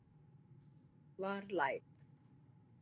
Var læk